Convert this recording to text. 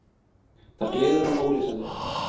Það gleður hann ólýsanlega.